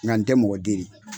Nka tɛ mɔgɔ deli.